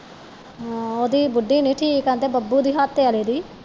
ਹਾਂ ਓਹਦੀ ਬੁੱਢੀ ਨਹੀ ਠੀਕ ਆਹੁੰਦੇ ਬੱਬੂ ਦਿਹਾਤੇ ਵਾਲੇ ਦੀ